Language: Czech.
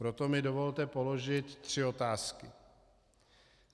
Proto mi dovolte položit tři otázky.